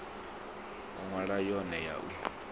oa nila yone ya u